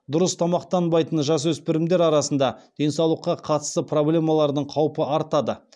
дұрыс тамақтанбайтын жасөспірімдер арасында денсаулыққа қатысты проблемалардың қаупі артады